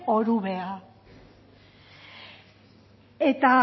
orubea eta